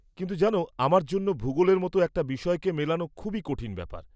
কিন্তু জানো, আমার জন্য ভুগোলের মতো একটা বিষয়কে মেলানো খুবই কঠিন ব্যাপার।